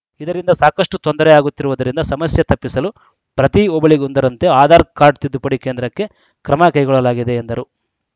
ಇದರಿಂದ ಸಾಕಷ್ಟುತೊಂದರೆ ಆಗುತ್ತಿರುವುದರಿಂದ ಸಮಸ್ಯೆ ತಪ್ಪಿಸಲು ಪ್ರತಿ ಹೋಬಳಿಗೊಂದರಂತೆ ಆಧಾರ್‌ ಕಾರ್ಡ್‌ ತಿದ್ದುಪಡಿ ಕೇಂದ್ರಕ್ಕೆ ಕ್ರಮ ಕೈಗೊಳ್ಳಲಾಗಿದೆ ಎಂದರು